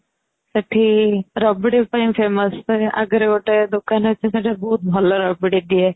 ଏଠି ରାବିଡି ପାଇଁ famous ଆଗରେ ଗୋଟେ ଦୋକାନ ଅଛି ସେଇଟା ବହୁତ ଭଲ ଗୋଟେ ଦିଏ